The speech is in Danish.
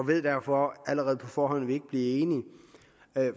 ved derfor allerede på forhånd at vi ikke bliver enige